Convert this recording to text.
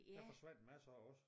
Der forsvandt masser også